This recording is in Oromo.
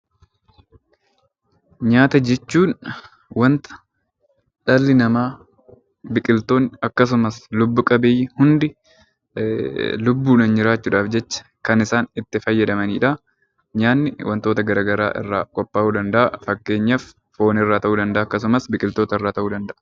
Nyaata jechuun waanta dhalli namaa biqiltoonni akkasumas lubbu qabeeyyiin hundi lubbuudhaan jiraachuudhaaf jecha kan isaan itti fayyadaman. Nyaanni waantota garaagaraa irraa qophaa'uu danda'a. Fakkeenyaaf foon irraa ta'uu danda'a akkasumas biqiltoota irraa ta'uu danda'a.